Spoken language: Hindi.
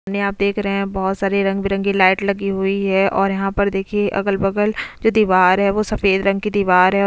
ने आप देख रहे हैं बहुत सारी रंग बिरंगी लाइट लगी हुई है और यहां पर देखिए अगल बगल जो दीवार है वो सफेद रंग की दीवार है।